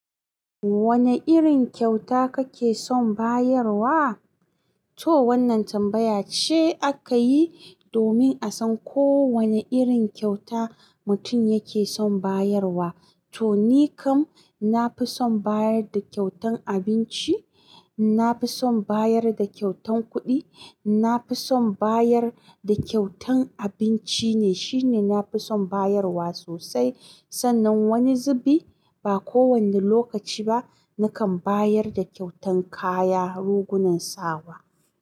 Wane irin kyauta kake son bayarwa? To wannan tambaya ce aka yi domin a san ko wane irin kyauta mutum yake son bayarwa. To ni kam na fi son bayar da kyautan abinci, na fi son bayar da kyautan kuɗi, na fi son bayar da kyautan abinci ne shine na fi son bayarwa sosai. Sannan wani zubi, ba kowane lokaci ba, nakan bayar da kyautan kaya, rugunan sawa.